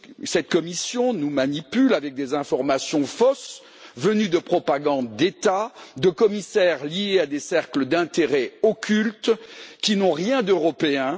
Cette Commission nous manipule avec des informations fausses venues de la propagande d'États, de commissaires liés à des cercles d'intérêt occultes qui n'ont rien d'européens.